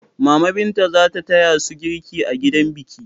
Mama Binta za ta taya su girki a gidan biki.